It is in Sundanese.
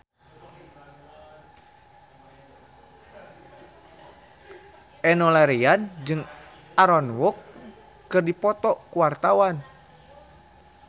Enno Lerian jeung Aaron Kwok keur dipoto ku wartawan